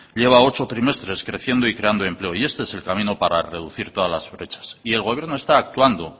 lleva ocho trimestres creciendo y creando empleo y este es el camino para reducir todas las brechas y el gobierno está actuando